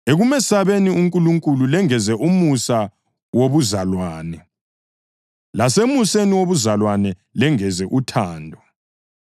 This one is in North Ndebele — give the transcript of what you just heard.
ekumesabeni uNkulunkulu lengeze umusa wobuzalwane; lasemuseni wobuzalwane lengeze uthando.